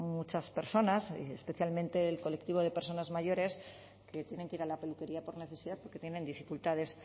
muchas personas especialmente el colectivo de personas mayores que tienen que ir a la peluquería por necesidad porque tienen dificultades